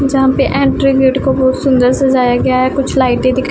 जहां पे entry gate को बोहोत सुंदर सजाया गया हैं कुछ लाइटे दिख--